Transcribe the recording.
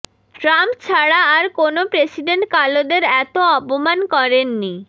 Trump ছাড়া আর কোনো প্রেসিডেন্ট কালোদের এত অপমান করেননি